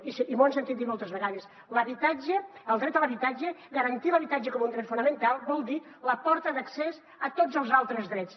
i m’ho han sentit dir moltes vegades l’habitatge el dret a l’habitatge garantir l’habitatge com un dret fonamental vol dir la porta d’accés a tots els altres drets